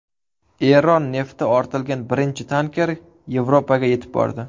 Eron nefti ortilgan birinchi tanker Yevropaga yetib bordi.